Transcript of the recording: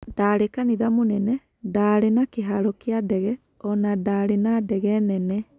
Ndarĩ kanitha mũnene, ndaarĩ na kĩhaaro kĩa ndege, o na ndaarĩ na ndege nene.